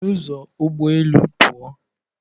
Sị n'ụzọ ụgbọ elu pụọ!